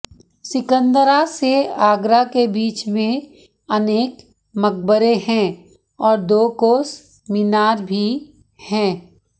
सिकंदरा से आगरा के बीच में अनेक मकबरे हैं और दो कोस मीनार भी हैं